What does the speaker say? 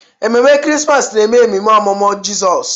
Ememe Krismas na-eme ememe ọmụmụ Jizọs.